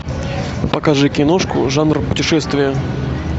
покажи киношку жанр путешествия